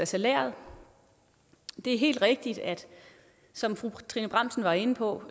salæret det er helt rigtigt som fru trine bramsen var inde på